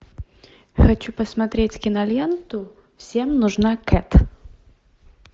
хочу посмотреть киноленту всем нужна кэт